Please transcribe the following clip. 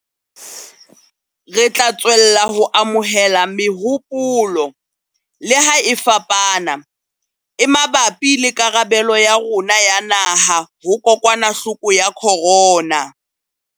Re tla tswella ho amohela mehopolo le ha e fapana e mabapi le karabelo ya rona ya naha ho kokwanahloko ya corona.